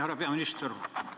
Härra peaminister!